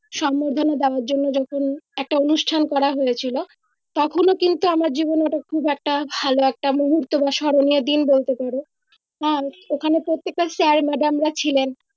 সংবর্ধনা দেওয়ার জন্য যখন একটা অনুষ্ঠান করা হয়েছিলো তখন ও কিন্তু আমার জীবনের খুব একটা ভালো একটা মুহুর্তো বা স্মরণীয় দিন বলতে পারও আর ওখানে প্রত্যেক টা sir madam রা ছিলেন